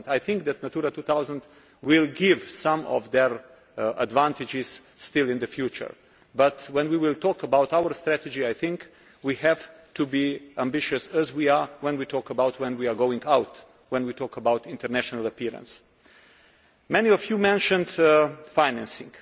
2000. I think that Natura 2000 will still give some advantages in the future but, when we talk about our strategy, I think we have to be ambitious, as we are when we talk about when we are going out, when we talk about international appearances. Many of you mentioned financing.